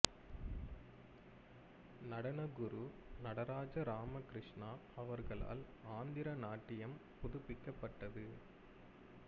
நடன குரு நடராஜ ராமகிருஷ்ணா அவர்களால் ஆந்திர நாட்டியம் புதுப்பிக்கப்பட்டது